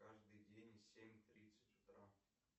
каждый день в семь тридцать утра